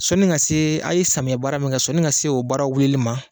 Sɔni ka se a ye samiya baara min kɛ, sɔni ka se o baara wulili ma